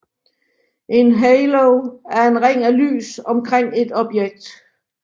En Halo er en ring af lys omkring et objekt